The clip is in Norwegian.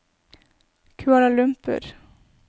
Kuala Lumpur